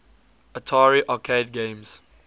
atari arcade games